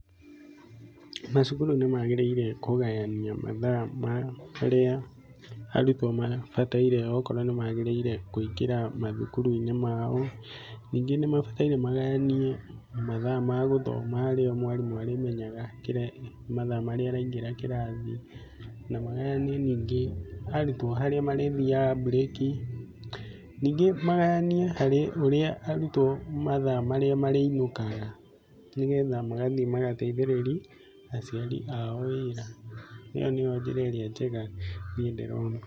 Macukuru nĩ magĩrĩire kũgayania mathaa ma ũrĩa arutwo mabataire okorwo nĩ magĩrĩire kuingĩra mathukuru-inĩ mao. Ningĩ nĩ mabataire magayanie mathaa ma gũthoma arĩa mwarimũ arĩmenyaga kĩrĩa mathaa marĩa araingĩra kĩrathi. Na magayanie ningĩ arutwo arĩa marĩthiaga mburĩki. Ningĩ magayanie ũrĩa arutwo mathaa marĩa marĩinũkaga, nĩ getha magathiĩ magateithĩrĩria aciari ao wĩra. ĩyo nĩyo njĩra ĩrĩa njega niĩ ndĩrona.